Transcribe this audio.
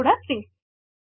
ಇದು ಕೂಡ ಸ್ಟ್ರಿಂಗ್